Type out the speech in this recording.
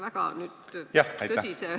Ärge võtke seda väga tõsiselt.